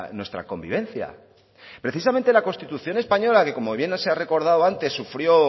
nuestra convivencia precisamente la constitución española que como bien se ha recordado antes sufrió